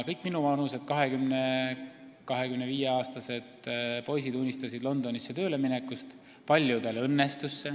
Kõik minuvanused, 20–25-aastased poisid, unistasid siis Londonisse tööle minekust, mis paljudel ka õnnestus.